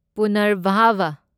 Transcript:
ꯄꯨꯅꯔꯚꯥꯕꯥ